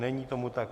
Není tomu tak.